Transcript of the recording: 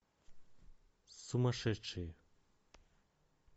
сумасшедшие